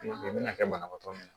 U bɛna kɛ banabaatɔ min ye